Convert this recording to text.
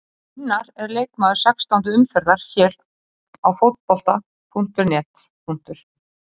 Gunnar er leikmaður sextándu umferðar hér á Fótbolta.net.